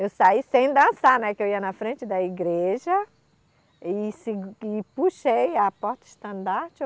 Eu saí sem dançar, né, que eu ia na frente da igreja e segu, e puxei a porta estandarte.